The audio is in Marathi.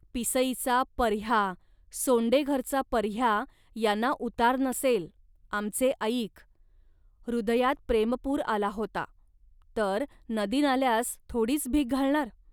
पिसईचा पर्ह्या, सोंडेघरचा पर्ह्या यांना उतार नसेल, आमचे ऐक. हृदयात प्रेमपूर आला होता, तर नदीनाल्यास थोडीच भीक घालणार